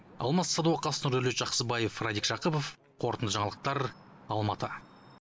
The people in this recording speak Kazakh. алмас садуақас нұрдәулет жақсыбаев радик жақыпов қорытынды жаңалықтар алматы